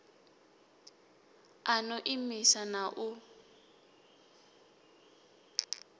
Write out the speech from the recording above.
a no imisa na u